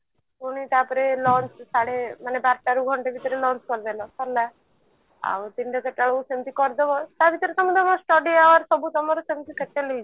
ପୁଣି ତାପରେ lunch ସାଢେ ମାନେ ବାରଟା ରୁ ଘଣ୍ଟେ ଭିତରେ lunch କରିଦେଲ ସରିଲା ଆଉ ତିନିଟା ଚାରିଟା ବେଳକୁ ସେମତି ତମେ କରିଦେବ ତ ଭିତରେ ତମେ ତମର study hour ସବୁ ତମର ସେମତି settle ହେଇଯିବ